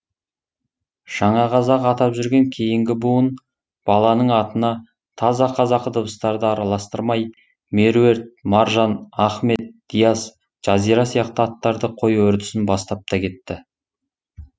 жаңа қазақ атап жүрген кейінгі буын баланың атына таза қазақы дыбыстарды араластырмай меруерт маржан ахмет диас жазира сияқты аттарды қою үрдісін бастап та кетті